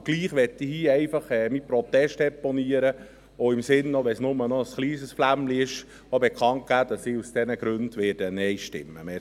Und doch möchte ich hier einfach meinen Protest deponieren und, auch wenn das bloss ein kleines Flämmchen ist, bekannt geben, dass ich aus diesen Gründen Nein stimmen werde.